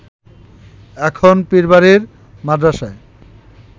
এখন পীরবাড়ির মাদ্রাসায়